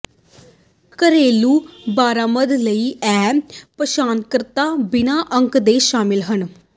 ਘਰੇਲੂ ਬਰਾਮਦ ਲਈ ਇਹ ਪਛਾਣਕਰਤਾ ਬਿਨਾ ਅੰਕ ਦੇ ਸ਼ਾਮਲ ਹਨ